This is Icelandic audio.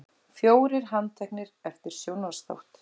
Fjórir handteknir eftir sjónvarpsþátt